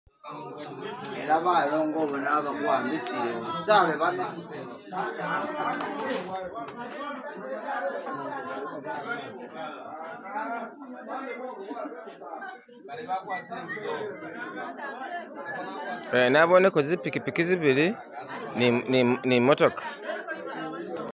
Naboneko zipikipiki zibili ni motoka.